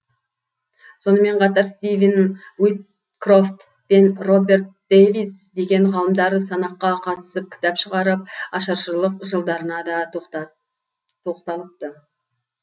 сонымен қатар стивен уиткрофт пен роберт дэвис деген ғалымдар санаққа қатысып кітап шығарып ашаршылық жылдарына да тоқталыпты